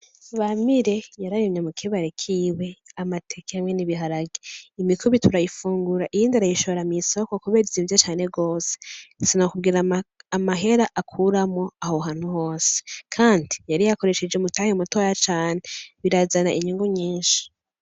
Bamire yararimye mukibare kiwe amateke hamwe n' ibiharage, imikubi turayifungura iyindi ayishora mw'isoko kubera izimvye cane gose sinokubwira amahera akuramwo aho hantu hose kandi yari yakoresheje umutahe mutoya cane birazana inyungu nyinshi.